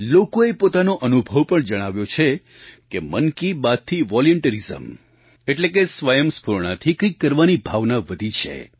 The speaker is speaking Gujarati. લોકોએ પોતાનો અનુભવ પણ જણાવ્યો છે કે મન કી બાતથી વૉલ્યન્ટિયરિઝમ એટલે કે સ્વયંસ્ફૂરણાથી કંઈક કરવાની ભાવના વધી છે